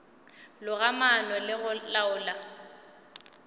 loga maano le go laola